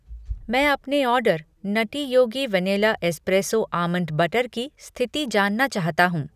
मैं अपने order nutty Yogi vanilla espresso almond butter की स्थिति जानना चाहता हूँ।